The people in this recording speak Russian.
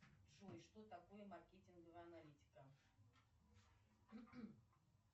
джой что такое маркетинговая аналитика